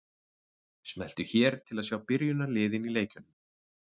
Smelltu hér til að sjá byrjunarliðin í leikjunum.